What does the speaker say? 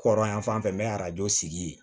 Kɔrɔ yan fan fɛ n bɛ arajo sigi